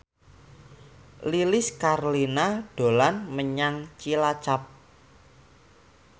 Lilis Karlina dolan menyang Cilacap